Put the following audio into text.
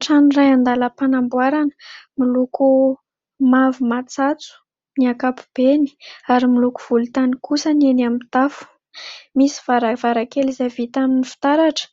Trano iray andalam-panamboarana miloko mavo matsatso ny ankapobeny ary miloko volontany kosa ny eny amin'ny tafo. Misy varavarakely izay vita amin'ny fitaratra